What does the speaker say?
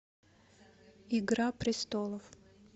игра престолов